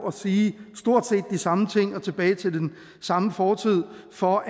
og sige stort set de samme ting og tilbage til den samme fortid for